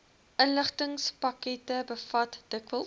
inligtingspakkette bevat dikwels